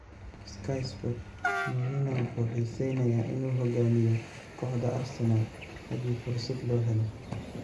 (Sky Sports) Mourinho wuxuu xiiseynayaa inuu hoggaamiyo kooxda Arsenal haddii fursad loo helo.